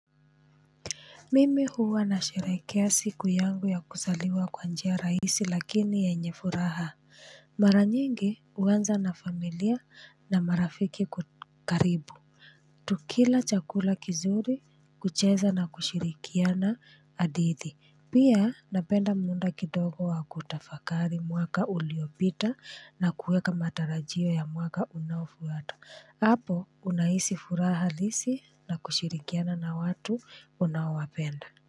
Mimi huwa na sherehekea siku yangu ya kuzaliwa kwa njia rahisi lakini yenye furaha, mara nyingi huanza na familia na marafiki karibu. Tukila chakula kizuri, kucheza na kushirikiana hadithi, pia napenda muda kidogo wa kutafakari mwaka uliopita na kueka matarajio ya mwaka unaofuata hapo unahisi furaha halisi na kushirikiana na watu unaowapenda.